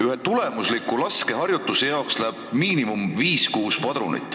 Ühe tulemusliku laskeharjutuse jaoks läheb vähemalt 5–6 padrunit.